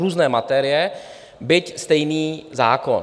Různé materie, byť stejný zákon.